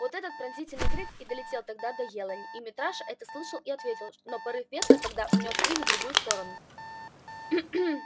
вот этот пронзительный крик и долетел тогда до елани и митраш это слышал и ответил но порыв ветра тогда унёс крик в другую сторону